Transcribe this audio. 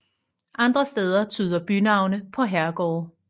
Andre steder tyder bynavne på herregårde